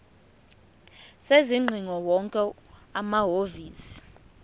sezingcingo wonke amahhovisi